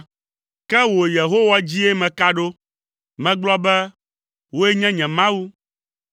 Ke wò, Yehowa, dzie meka ɖo; megblɔ be, “Wòe nye nye Mawu.”